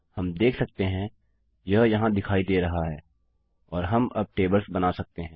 हम देख सकते हैं यह यहाँ दिखाई दे रहा है और हम अब टेबल्स बना सकते हैं